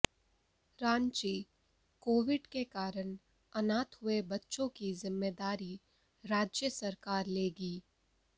Ranchi Covid के कारण अनाथ हुए बच्चों की जिम्मेदारी राज्य सरकार लेगी